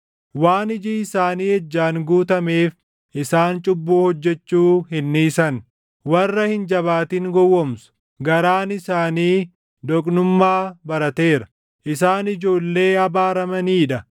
Waan iji isaanii ejjaan guutameef isaan cubbuu hojjechuu hin dhiisan; warra hin jabaatin gowwoomsu; garaan isaanii doqnummaa barateera; isaan ijoollee abaaramanii dha!